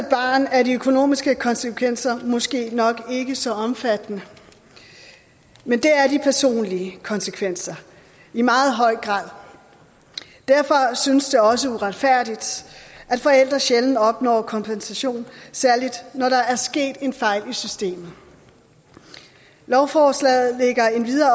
barn er de økonomiske konsekvenser måske nok ikke så omfattende men det er de personlige konsekvenser i meget høj grad derfor synes det også uretfærdigt at forældre sjældent opnår kompensation særlig når der er sket en fejl i systemet lovforslaget lægger endvidere